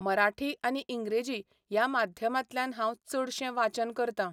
मराठी आनी इंग्रेजी ह्या माध्यमांतल्यान हांव चडशें वाचन करतां.